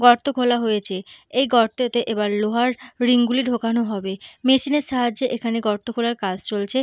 গর্ত খোলা হয়েছে। এই গর্তেতে এবার লোহার রিং গুলি দোকান হবে। মেসিন এর সাহায্যে এখানে গর্ত খোলার কাজ চলছে।